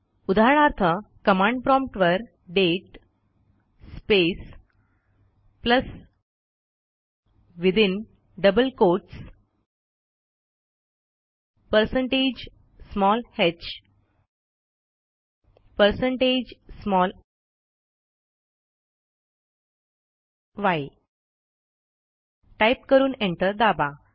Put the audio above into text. उदाहरणार्थ कमांड promptवर date space plus within double quotes percentage small h percentage small yटाईप करून एंटर दाबा